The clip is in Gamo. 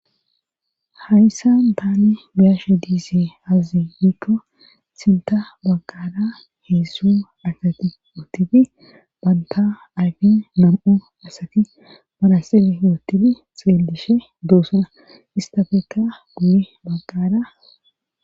hayssan taani biyashe diise hazazi iikko sinta bagqara heessu asati wootifi banta ayfi nam7u asati marasile wootidi xeelishe doosa istafekka guli bagqara